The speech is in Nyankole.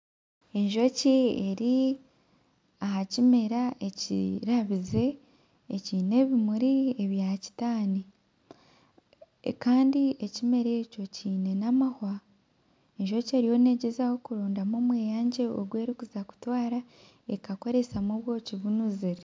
Enjoki eri aha kimera ekirabize ekyine ebimuri ebya kitani Kandi ekimera ekyo kyine n'amahwa enjoki eriyo negyezaho kurondamu omweyangye ogu erikuza kutwara ekakoresamu obwoki bunuzire.